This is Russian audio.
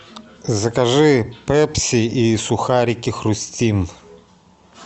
закажи пепси и сухарики хрустим